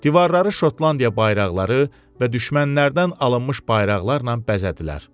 Divarları Şotlandiya bayraqları və düşmənlərdən alınmış bayraqlarla bəzədilər.